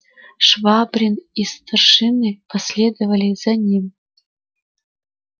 швабрин и старшины последовали за ним